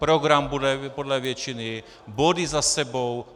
Program bude podle většiny, body za sebou.